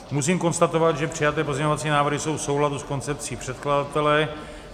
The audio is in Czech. Musím konstatovat, že přijaté pozměňovací návrhy jsou v souladu s koncepcí předkladatele.